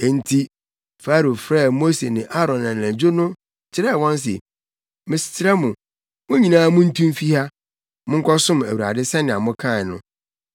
Enti Farao frɛɛ Mose ne Aaron anadwo no ka kyerɛɛ wɔn se, “Mesrɛ mo, mo nyinaa muntu mfi ha. Monkɔsom Awurade sɛnea mokae no.